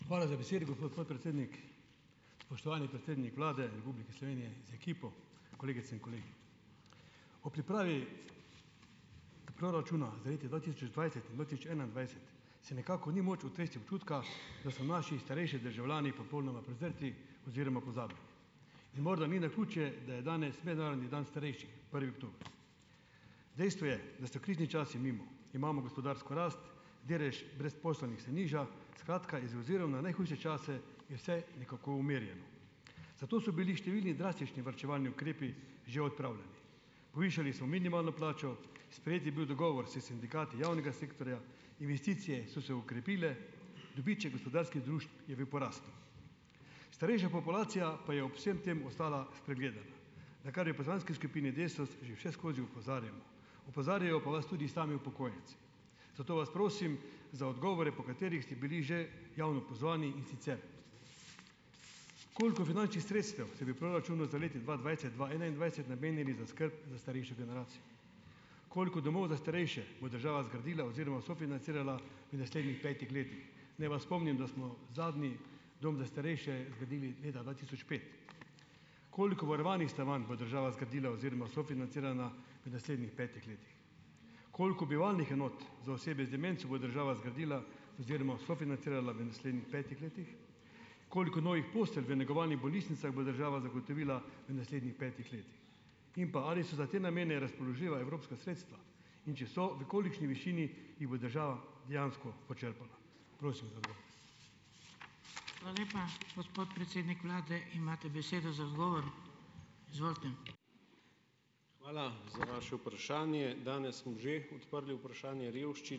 Hvala za besedo, gospod podpredsednik. Spoštovani predsednik Vlade Republike Slovenije z ekipo! Kolegice in kolegi! Ob pripravi proračuna za leta dva tisoč dvajset in dva tisoč enaindvajset se nekako ni moč otresti občutka, da so naši starejši državljani popolnoma prezrti oziroma pozabljeni in morda ni naključje, da je danes mednarodni dan starejših, prvi oktober. Dejstvo je, da so krizni časi mimo. Imamo gospodarsko rast delež brezposelnih se nižja, skratka, z obzirom na najhujše čase je vse nekako umirjeno, zato so bili številni drastični varčevalni ukrepi že odpravljeni. Povišali smo minimalno plačo, sprejet je bil dogovor s sindikati javnega sektorja, investicije so se okrepile, dobiček gospodarskih družb je v porastu. Starejša populacija pa je ob vsem tem ostala spregledana, na kar je v poslanski skupini Desus že vseskozi opozarjamo. Opozarjajo pa vas tudi sami upokojenci, zato vas prosim za odgovore, po katerih ste bili že javno pozvani. In sicer koliko finančnih sredstev se v proračunu za leti dva dvajset-dva enaindvajset namenili za skrb za starejšo generacijo, koliko domov za starejše bo država zgradila oziroma sofinancirala v naslednjih petih letih, naj vas spomnim, da smo zadnji dom za starejše zgradili leta dva tisoč pet? Koliko varovanih stanovanj bo država zgradila oziroma sofinancirala v naslednjih petih letih? Koliko bivalnih enot za osebe z demenco bo država zgradila oziroma sofinancirala v naslednjih petih letih? Koliko novih postelj v negovalnih bolnišnicah bo država zagotovila v naslednjih petih letih in pa ali so za te namene razpoložljiva evropska sredstva, in če so v kolikšni višini jih bo država dejansko počrpala? Prosim za odgovore.